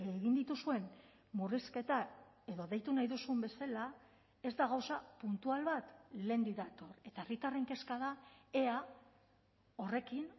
egin dituzuen murrizketak edo deitu nahi duzun bezala ez da gauza puntual bat lehendik dator eta herritarren kezka da ea horrekin